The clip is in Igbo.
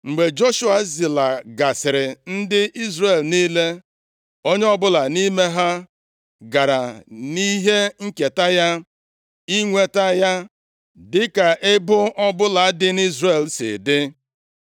Mgbe Joshua zilagasịrị ndị Izrel niile, onye ọbụla nʼime ha gara nʼihe nketa ya, inweta ya, dịka ebo ọbụla dị nʼIzrel si dị.